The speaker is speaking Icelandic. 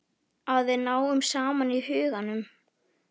Að við náum saman í huganum.